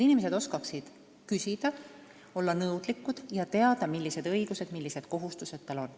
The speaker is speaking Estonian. Inimesed peaksid oskama küsida, olema nõudlikud ning teadma, millised õigused ja millised kohustused neil on.